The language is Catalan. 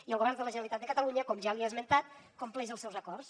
i el govern de la generalitat de catalunya com ja li he esmentat compleix els seus acords